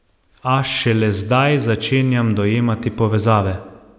A šele zdaj začenjam dojemati povezave.